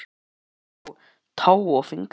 Þú hlýtur að græða á tá og fingri!